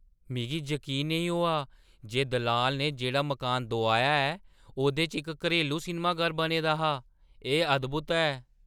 मिगी जकीन नेईं होआ जे दलाल ने जेह्ड़ा मकान दोआया ऐ ओह्‌दे च इक घरेलू सिनमाघर बने दा हा। एह् अद्‌भुत ऐ!